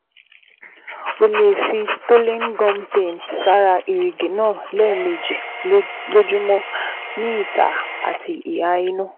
O lè fi Stolin gum paint sára èrìgì náà lẹ́ẹ̀mejì lójúmọ́ ní ìta àti ìhà inú